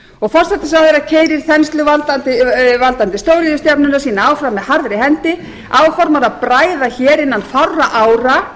og forsætisráðherra keyrir þensluvaldandi stóriðjustefnuna sína áfram með harðri hendi áformar að bræða hér innan fárra ára